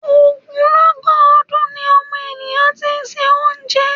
Ogunlọ́gọ̀ ọdun ni ọmọnìyàn ti ń se oúnjẹ.